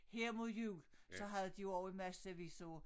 Her mod jul så havde de jo også en massevis af